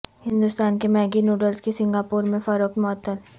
ہندوستان کے Maggi noodles کی Singapore میں فروخت معطل